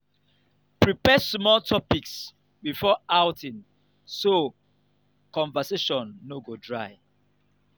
prepare small topics before outing so conversation no go dry.